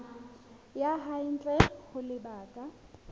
ya hae ntle ho lebaka